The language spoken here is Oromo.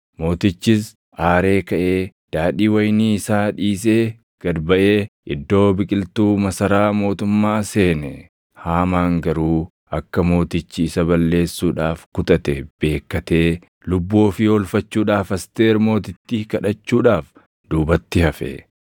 Mootichis aaree kaʼee daadhii wayinii isaa dhiisee gad baʼee iddoo biqiltuu masaraa mootummaa seene. Haamaan garuu akka mootichi isa balleessuudhaaf kutate beekkatee lubbuu ofii oolfachuudhaaf Asteer Mootittii kadhachuudhaaf duubatti hafe.